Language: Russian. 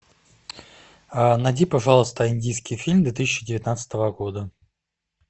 найди пожалуйста индийский фильм две тысячи девятнадцатого года